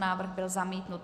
Návrh byl zamítnut.